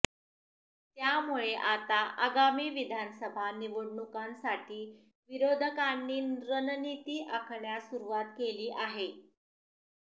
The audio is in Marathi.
त्यामुळे आता आगामी विधानसभा निवडणुकांसाठी विरोधकांनी रणनिती आखण्यास सुरुवात केली आहे